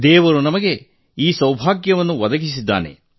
ದೇವರು ನಮಗೆ ಈ ಸೌಭಾಗ್ಯ ಕರುಣಿಸಿದ್ದಾನೆ